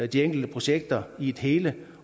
de enkelte projekter i et hele